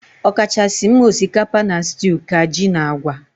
Ọkachasị m osikapa na stew ka ji na agwa